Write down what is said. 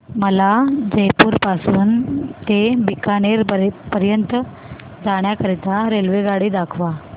मला जयपुर पासून ते बीकानेर पर्यंत जाण्या करीता रेल्वेगाडी दाखवा